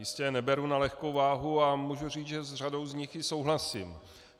Jistě je neberu na lehkou váhu a můžu říct, že s řadou z nich i souhlasím.